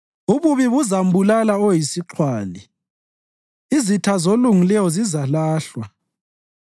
Ububi buzambulala oyisixhwali; izitha zolungileyo zizalahlwa.